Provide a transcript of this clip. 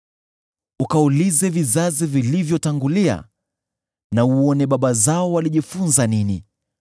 “Ukaulize vizazi vilivyotangulia na uone baba zao walijifunza nini,